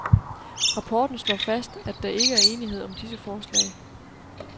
Rapporten slår fast, at der ikke er enighed om disse forslag.